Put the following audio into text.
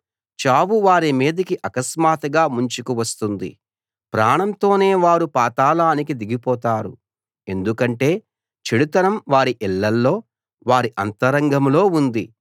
చావు వారి మీదికి అకస్మాత్తుగా ముంచుకు వస్తుంది ప్రాణంతోనే వారు పాతాళానికి దిగిపోతారు ఎందుకంటే చెడుతనం వారి ఇళ్ళలో వారి అంతరంగంలో ఉంది